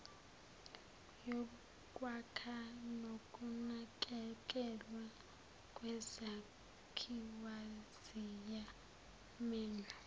yokwakha nokunakekelwa kwezakhiwoziyamenywa